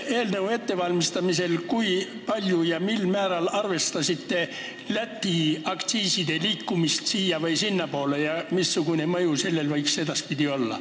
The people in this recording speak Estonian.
Mil määral te arvestasite selle eelnõu ettevalmistamisel Läti aktsiiside liikumist siia- või sinnapoole ja missugune mõju võiks sellel olla edaspidi?